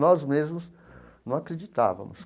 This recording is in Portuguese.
Nós mesmos não acreditávamos.